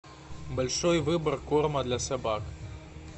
большой выбор корма для собак